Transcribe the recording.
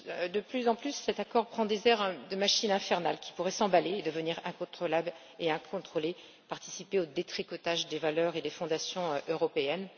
De plus en plus, cet accord prend des airs de machine infernale qui pourrait s'emballer et devenir incontrôlable et incontrôlée, participer au détricotage des valeurs et des fondations européennes.